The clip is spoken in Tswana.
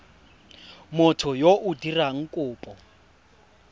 motho yo o dirang kopo